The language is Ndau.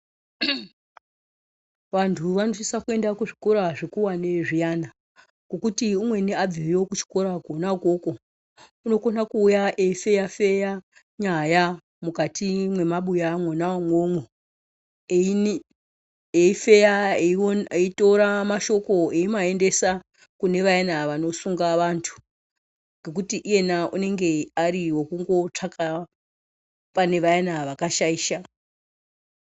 Vantu vanosisa kuenda kuzvikora zvikuwani zviyani. Ngekuti umweni abveyo kuchikora kona ukoko unokona kuuya eifeya feya nyaya mukati mwemabuya mwona umwomwo, eifeya eitora mashoko eimaendesa kune vayana vanosunga vantu ngekuti iyena anenge ariwokungotsvaka pane vayana vakashaisha.